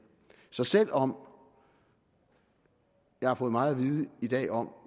så selv om jeg har fået meget at vide i dag om